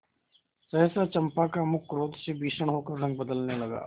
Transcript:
सहसा चंपा का मुख क्रोध से भीषण होकर रंग बदलने लगा